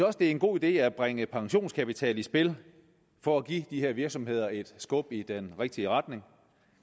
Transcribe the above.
også det er en god idé at bringe pensionskapital i spil for at give de her virksomheder et skub i den rigtige retning